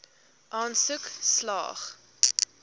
aansoek slaag